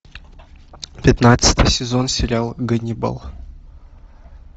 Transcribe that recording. пятнадцатый сезон сериал ганнибал